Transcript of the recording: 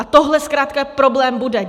A tohle zkrátka problém bude.